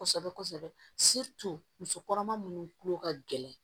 Kosɛbɛ kosɛbɛ musokɔnɔma minnu kulo ka gɛlɛn